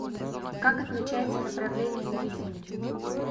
как отмечается направление на резине